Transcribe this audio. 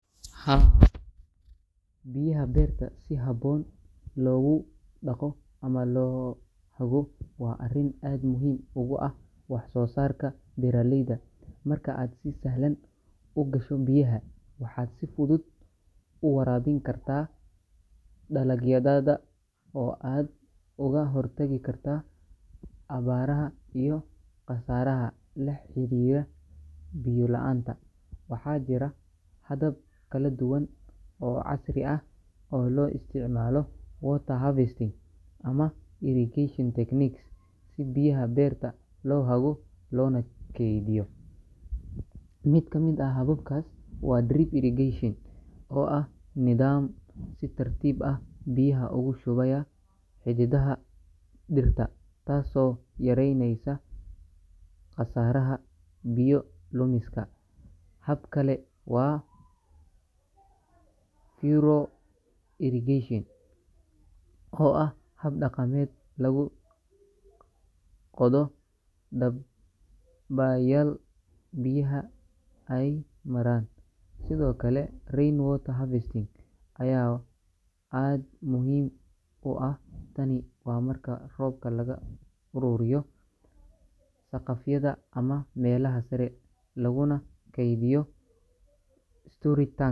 Haa, biyaha beerta si habboon loogu dabaqo ama loo hago waa arrin aad muhiim ugu ah wax-soosaarka beeraleyda. Marka aad si sahlan u gasho biyaha, waxaad si fudud u waraabin kartaa dalagyadaada oo aad uga hortagi kartaa abaaraha iyo khasaaraha la xiriira biyo la’aanta. Waxaa jira habab kala duwan oo casri ah oo loo isticmaalo water harvesting ama irrigation techniques si biyaha beerta loo hago loona keydiyo. Mid ka mid ah hababkaas waa drip irrigation, oo ah nidaam si tartiib ah biyaha ugu shubaya xididada dhirta, taasoo yareyneysa khasaaraha biyo lumiska. Hab kale waa furrow irrigation, oo ah hab dhaqameed lagu qodo dhab bayaal biyaha ay maraan. Sidoo kale, rainwater harvesting ayaa aad muhiim u ah — tani waa marka roobka laga ururiyo saqafyadha ama meelaha sare laguna keydiyo storage tank.